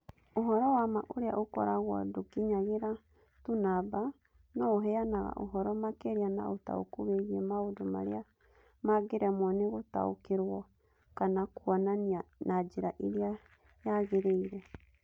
Ũhoro wa ma ũrĩa ũkoragwo ndũkinyagĩra tu namba, no ũheanaga ũhoro makĩria na ũtaũku wĩgiĩ maũndũ marĩa mangĩremwo nĩ gũtaũkĩrũo kana kuonania na njĩra ĩrĩa yagĩrĩire.